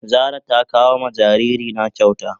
Zara ta kawo ma jariri na kyauta.